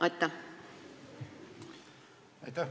Aitäh!